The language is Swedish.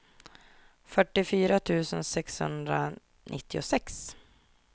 fyrtiofyra tusen sexhundranittiosex